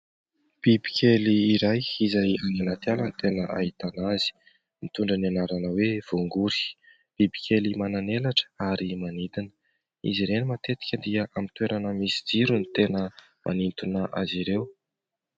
Bibikely iray izay any anaty ala ny tena ahitana azy. Nitondra ny anarana hoe voangory. Bibikely manan' elatra ary manidina. Izy ireny matetika dia amin' ny toerana misy jiro ny tena manintona azy ireo.